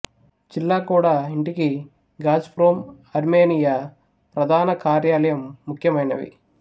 జిల్లా కూడా ఇంటికి గాజ్ప్రోమ్ అర్మేనియా ప్రధాన కార్యాలయం ముఖ్యమైనవి